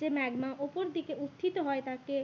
যে ম্যাগমা উপর দিকে উঠিত হয় তাকে